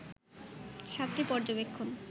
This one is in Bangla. সাতটি পর্যবেক্ষণ